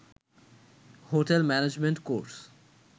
hotel management course